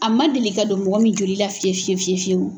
A ma deli ka don mɔgɔ min joli la fiye fiye fiyewu!